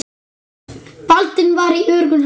Baldvin var í öruggum höndum.